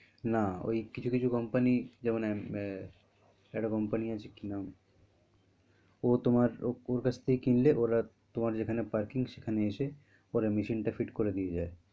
না ওই কিছু কিছু company যেমন আহ একটা company আছে কি নাম? ও তোমার ওর কাছ থেকে কিনলে ওরা তোমার যেখানে parking সেখানে এসে ওরা machine টা fit করে দিয়ে যায়।